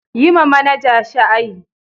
Yi ma manaja shaayi.